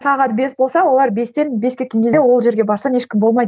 сағат бес болса олар бестен бес кеткен кезде ол жерге барсаң ешкім болмайды